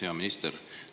Hea minister!